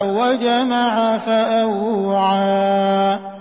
وَجَمَعَ فَأَوْعَىٰ